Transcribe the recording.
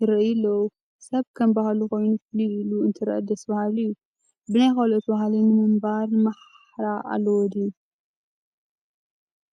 ይርአዩ ኣለዉ፡፡ ሰብ ከም ባህሉ ኮይኑ ፍልይ ኢሉ እንትርአ ደስ በሃሊ እዩ፡፡ ብናይ ካልኦት ባህሊ ለምንባር ማሕራ ኣለዎ ድዮ?